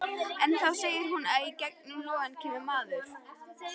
En þá sér hún að í gegnum logana kemur maður.